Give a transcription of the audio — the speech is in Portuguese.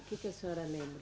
O que que a senhora lembra?